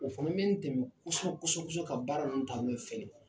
O fana bɛ dɛmɛn kosɛbɛ kosɛb ka baara ninnu ta ɲɛ fɛ de.